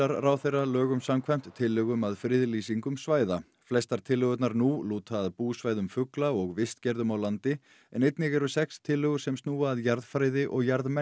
ráðherra lögum samkvæmt tillögum að friðlýsingum svæða flestar tillögurnar nú lúta að búsvæðum fugla og vistgerðum á landi en einnig eru sex tillögur sem snúa að jarðfræði og